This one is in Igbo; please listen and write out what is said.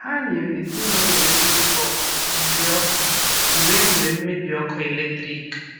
Ha nyere ezinụụlọ na-enweghị ọkụ uri ọkụ mgbe e nwere mmebi ọkụ eletrik.